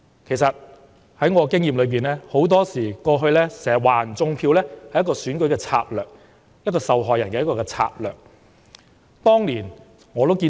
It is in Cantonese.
其實根據我的經驗，很多時指對手"種票"是選舉策略，指控者以受害人自居的策略。